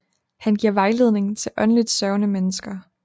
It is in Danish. Han giver vejledning til åndeligt søgende mennesker